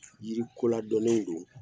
Yiri koladɔnnen do.